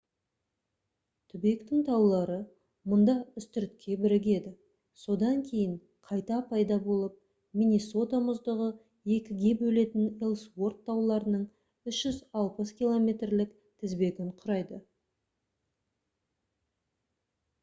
түбектің таулары мұнда үстіртке бірігеді содан кейін қайта пайда болып миннесота мұздығы екіге бөлетін элсуорт тауларының 360 км-лік тізбегін құрайды